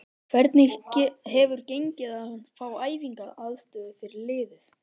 Hvernig hefur gengið að fá æfingaaðstöðu fyrir liðið?